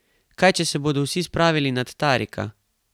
Kaj, če se bodo vsi spravili nad Tarika?